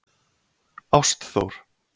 Ástþór